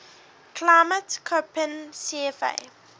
climate koppen cfa